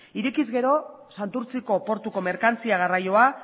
ireki ezkero santurtziko portuko merkantzia garraia